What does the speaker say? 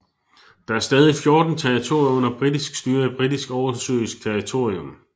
Der er stadig 14 territorier under britisk styre i Britisk oversøisk territorium